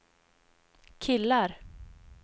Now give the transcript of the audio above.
killar